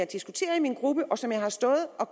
diskuteret i min gruppe og som jeg har stået og